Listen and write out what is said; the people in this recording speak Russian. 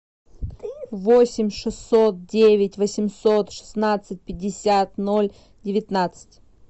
восемь шестьсот девять восемьсот шестнадцать пятьдесят ноль девятнадцать